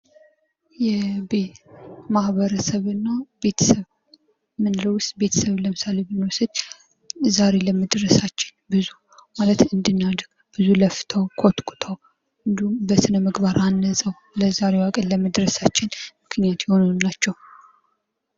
ቤት መሃበረሰብና ቤተሰብ እምንለው ውስጥ ለምሳሌ ቤተሰብን ብንወስድ ዛሬ ለመድረሳችን እንድናድግ ብዙ ለፍተው ኮትኩተው እንዲሁም በስነ ምግባር አሳድገው ለዛሬዋ ቀን ለመድረሳችን ምክንያት የሆኑን ናቸው።